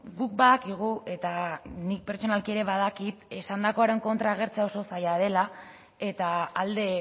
guk badakigu eta nik pertsonalki ere badakit esandakoaren kontra agertzea oso zaila dela eta alde